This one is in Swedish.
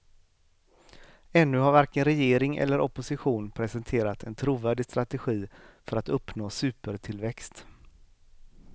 Ännu har varken regering eller opposition presenterat en trovärdig strategi för att uppnå supertillväxt.